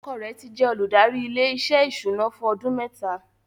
Ọkọ rẹ̀ ti jẹ́ olùdarí ilé-iṣẹ́ ìṣúná fún ọdún mẹ́ta.